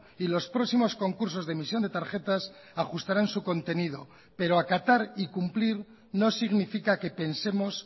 y los próximos concursos de emisión de tarjetas ajustarán su contenido pero acatar y cumplir no significa que pensemos